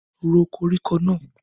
Ró koríko náà!